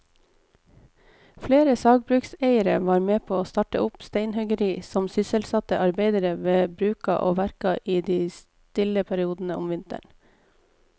Flere sagbrukseiere var med å starte opp steinhuggeri som sysselsatte arbeidere ved bruka og verka i de stille periodene om vinteren.